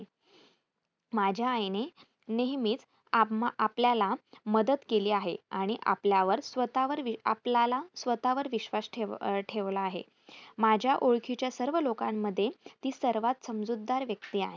माझ्या आईने नेहमीच आम्हां आपल्याला मदत केली आहे. आणि आपल्यावर स्वतःवर वि आपल्याला स्वतःवर विश्वास ठेव ठेवला आहे. माझ्या ओळखीच्या सर्व लोकांमधे ती सर्वात समजूतदार व्यक्ती आहे.